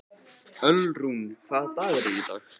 Ölrún, hvaða dagur er í dag?